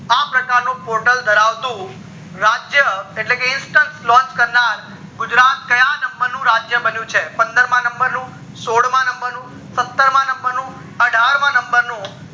આ પ્રકારનું portal ધરાવતું રાજ્ય એટલે કે launch કરનાર ગુજરાત કયા number નું રાજ્ય બન્યું છે પંદર માં number નું, સોળ માં number નું, સત્તર માં number નું, અઠાર માં number નું